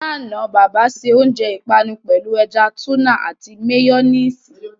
Ní àná, bàbà se oúnjẹ ìpanu pẹ̀lú ẹja túnà àti méyọ́néèsì.